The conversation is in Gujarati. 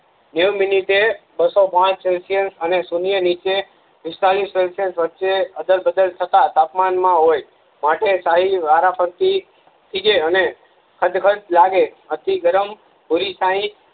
બે મીનીટે બસો પાંચ દુતીયાઉસ અને સૂન્ય નીથે પિસ્તાલીસ ડિસ્ટન્સ વચ્ચે અદલબદલ થતા તાપમાન માંહોય માટે સાહી વારાફરતી થીજે અને હ્દ્ગ્દ લાગે અતિ ગરમ ખુલ્લી સાહી